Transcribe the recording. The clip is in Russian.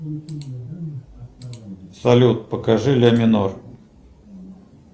салют покажи ля минор